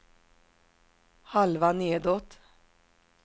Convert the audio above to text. halva nedåt